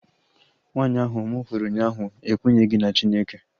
Nwanyị ahu mụ hụrụ ụnyaahụ ekwenyeghi na Chineke